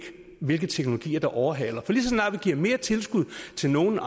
hvilke teknologier der overhaler for lige så snart vi giver mere tilskud til nogle